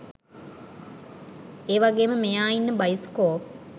ඒවගේම මෙයා ඉන්න බයිස්කෝප්